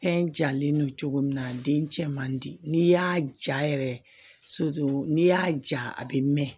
Fɛn jalen don cogo min na den cɛ man di n'i y'a ja yɛrɛ n'i y'a ja a be mɛn